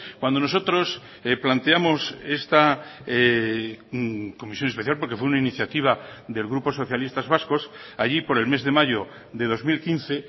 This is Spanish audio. cuando nosotros planteamos esta comisión especial porque fue una iniciativa del grupo socialistas vascos allí por el mes de mayo de dos mil quince